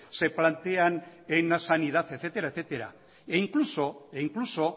se plantean en la sanidad etcétera e incluso